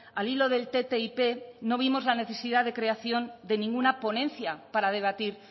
al hilo del ttip no vimos la necesidad de creación de ninguna ponencia para debatir